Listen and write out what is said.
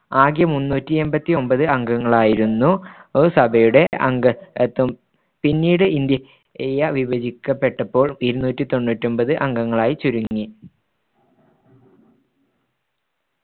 ആകെ മുന്നൂറ്റിയെമ്പത്തിയൊൻമ്പത് അംഗങ്ങളായിരുന്ന ഒരു സഭയുടെ അംഗ ത്വം പിന്നീട് ഇന്ത്യ വിഭജിക്കപ്പെട്ടപ്പോൾ ഇരുന്നൂറ്റിതൊണ്ണൂറ്റിയൊമ്പത് അംഗങ്ങളായി ചുരുങ്ങി